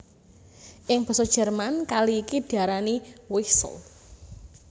Ing basa Jerman kali iki diarani Weichsel